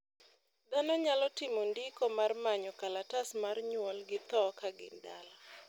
dhano nyalo timo ndiko mar manyo kalatas mar nyuol gi tho ka gin dala